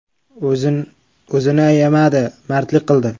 O‘zini ayamadi, mardlik qildi.